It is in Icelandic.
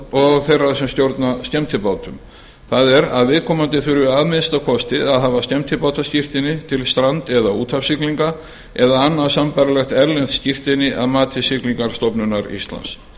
og þeirra sem stjórna skemmtibátum það er að viðkomandi þurfi að minnsta kosti að hafa skemmtibátaskírteini til strand eða úthafssiglinga eða annað sambærilegt erlent skírteini að mati siglingastofnunar íslands